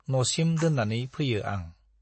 न'सिम दोन्नानै फैयो आं।